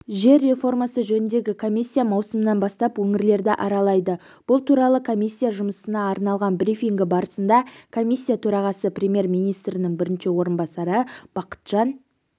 жер реформасы жөніндегі комиссия маусымнан бастап өңірлерді аралайды бұл туралы комиссия жұмысына арналған брифингі барысында комиссия төрағасы премьер-министрінің бірінші орынбасары бақытжан